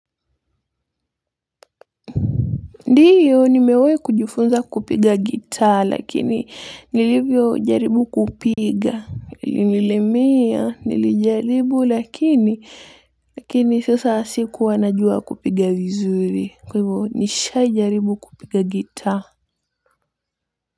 Ndiyo nimewahi kujifunza kupiga gitar lakini nilivyojaribu kupiga. Ilinilemea, nilijaribu lakini, lakini sasa sikuwa najua kupiga vizuri. Kwa hivyo nishawahi jaribu kupiga gitar.